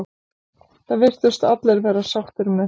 Það virtust allir vera sáttir með þetta.